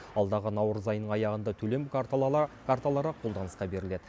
алдағы наурыз айының аяғында төлем карталары қолданысқа беріледі